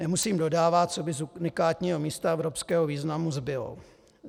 Nemusím dodávat, co by z unikátního místa evropského významu zbylo.